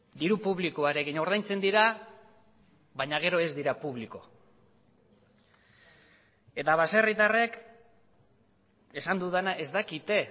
diru publikoarekin ordaintzen dira baina gero ez dira publiko eta baserritarrek esan dudana ez dakite